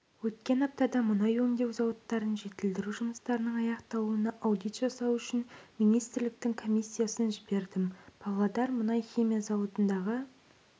өткен аптада мұнай өңдеу зауыттарын жетілдіру жұмыстарының аяқталуына аудит жасау үшін министрліктің комиссиясын жібердім павлодар мұнай-химия зауытындағы